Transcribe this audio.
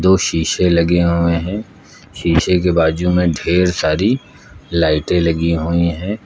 दो शीशे लगे हुए हैं शीशे के बाजू में ढ़ेर सारी लाइटें लगी हुई है।